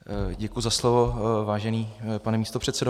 Děkuji za slovo, vážený pane místopředsedo.